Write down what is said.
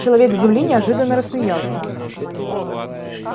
человек с земли неожиданно рассмеялся